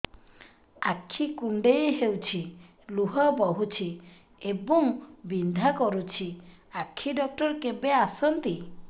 ଆଖି କୁଣ୍ଡେଇ ହେଉଛି ଲୁହ ବହୁଛି ଏବଂ ବିନ୍ଧା କରୁଛି ଆଖି ଡକ୍ଟର କେବେ ଆସନ୍ତି